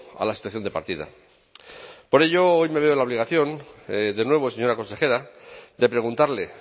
a la situación de partida por ello hoy me veo en la obligación de nuevo señora consejera de preguntarle